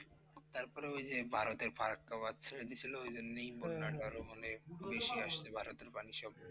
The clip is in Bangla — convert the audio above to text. তারপরে ঐ যে ভারতের ফারাক্কা বাঁধ ছেড়ে দিয়েছিল, ঐজন্যই বন্যাটা আরও মানে বেশি আসছে, ভারতের পানি সব